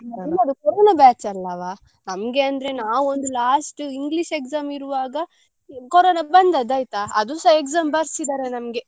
ನಿಮ್ಮದು corona batch ಅಲ್ಲವ ನಮಗೆ ಅಂದ್ರೆ ನಾವ್ ಒಂದು last English exam ಇರುವಾಗ corona ಬಂದದ್ದಾಯ್ತ ಅದುಸ exam ಬರ್ಸಿದ್ದಾರೆ ನಮ್ಗೆ.